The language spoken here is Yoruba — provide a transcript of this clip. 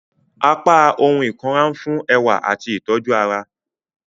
Apá ohùn ikunra nfun ẹwa ati itoju ará.